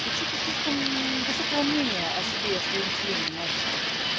вы что то слишком высокого мнения о себе и своём члене мальчики